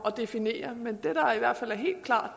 at definere men det der i hvert fald er helt klart